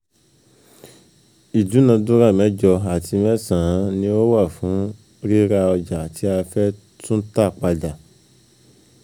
Ìdúnàdúrà mẹ́jọ àti mẹ́san-án ni ó wà fún ríra ọjà tí a fẹ́ tú tà padà.